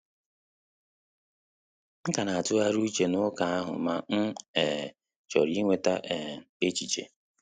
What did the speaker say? M ka na-atughari uche na-uka ahụ ma m um chọrọ inweta um echiche